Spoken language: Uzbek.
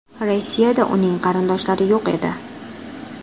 Rossiyada uning qarindoshlari yo‘q edi.